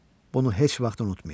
Bunu heç vaxt unutmayın.